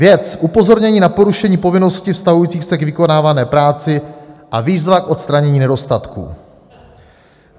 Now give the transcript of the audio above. "Věc: Upozornění na porušení povinnosti vztahující se k vykonávané práci a výzva k odstranění nedostatků.